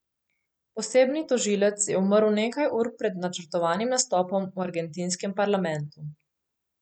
Posebni tožilec je umrl nekaj ur pred načrtovanim nastopom v argentinskem parlamentu.